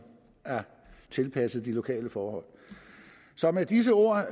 er tilpasset de lokale forhold så med disse ord